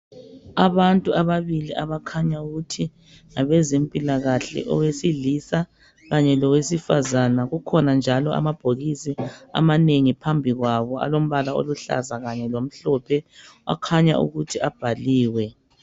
Abantu ababili, abakhanya ukuthi ngabezempilakahle. Owesilisa kanye lowesifazana. Kukhona njalo amabhokisi amanengi phambi kwabo, alombala aluhlaza kanye lomhlophe. Akhanya ukuthi abhaliwe.